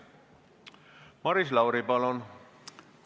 Maris Lauri, palun!